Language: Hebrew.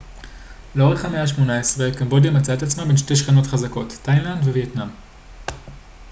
לאורך המאה ה-18 קמבודיה מצאה את עצמה בין שתי שכנות חזקות תאילנד ווייטנאם